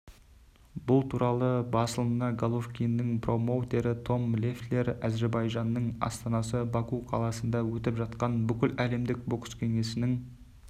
бұл туралы басылымына головкиннің промоутері том леффлер әзербайжанның астанасы баку қаласында өтіп жатқан бүкіләлемдік бокс кеңесінің